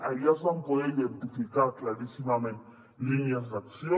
allà es van poder identificar claríssimament línies d’acció